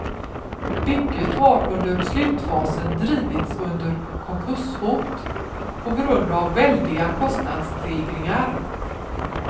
Bygget har under slutfasen drivits under konkurshot på grund av väldiga kostnadsstegringar.